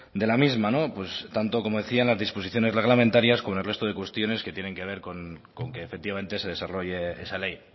de la misma tanto como decía en las disposiciones reglamentarias como en el resto de cuestiones que tienen que ver con que efectivamente se desarrolle esa ley